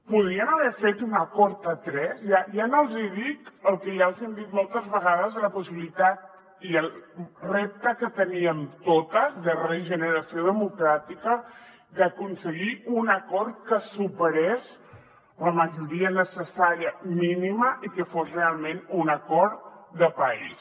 podrien haver fet un acord a tres ja no els hi dic el que ja els hi hem dit moltes vegades de la possibilitat i el repte que teníem totes de regeneració democràtica d’aconseguir un acord que superés la majoria necessària mínima i que fos realment un acord de país